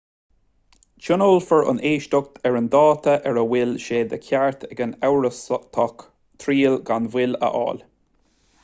tionólfar an éisteacht ar an dáta ar a bhfuil sé de cheart ag an amhrastach triail gan mhoill a fháil